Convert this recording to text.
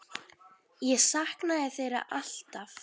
Ég saknaði þeirra alltaf.